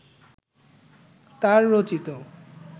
তাঁর রচিত